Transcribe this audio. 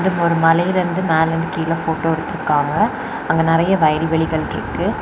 இங்க ஒரு மலையிலேர்ந்து மேல இருந்து கீழ ஃபோட்டோ எடுத்திருகாங்க அங்க நெறய வயல்வெளிகள் இருக்கு.